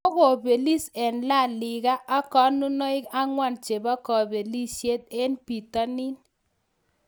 Kogobelis en La Liga ak konunoik ang'wan chebo kobelisiet en bitonin